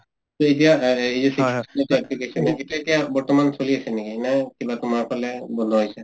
এই যে application টো সেইটো এতিয়া বৰ্তমান চলি আছে নেকি নে কিবা তোমাৰ ফালে বন্ধ হৈছে ?